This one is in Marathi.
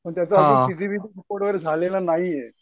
पण त्याच रिपोर्ट झालेलं नाहीये.